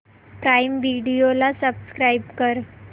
prime Video ला subscribe कर